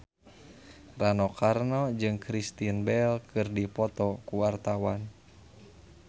Rano Karno jeung Kristen Bell keur dipoto ku wartawan